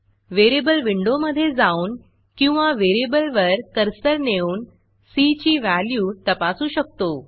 variable विंडोमधे जाऊन किंवा व्हेरिएबलवर कर्सर नेऊन सी ची व्हॅल्यू तपासू शकतो